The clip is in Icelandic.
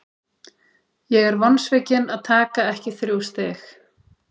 Ég er vonsvikinn að taka ekki þrjú stig.